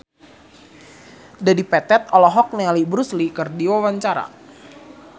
Dedi Petet olohok ningali Bruce Lee keur diwawancara